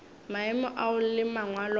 maemo ao le mangwalo a